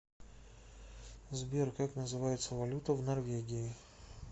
сбер как называется валюта в норвегии